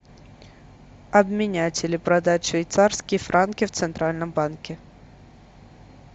обменять или продать швейцарские франки в центральном банке